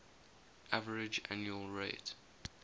average annual rate